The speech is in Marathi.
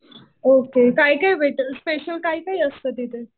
ओके. काय काय भेटेल? स्पेशल काय काय असतं तिथे?